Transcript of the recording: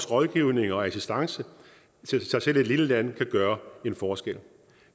rådgivning og assistance så selv et lille land kan gøre en forskel